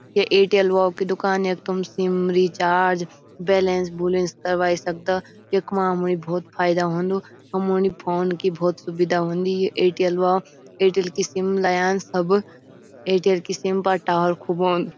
ये एयरटेल वोल की दूकान यख तुम सिम रीचार्ज बैलेंस बुलेंस करवाई सकदा यख्मा हमणी भौत फायदा होन्दु हमुनी फ़ोन की भौत सुविधा हुंदी ये एयरटेल वाल एयरटेल की सिम लयांस सब एयरटेल की सिम फा टावर खूब औंद।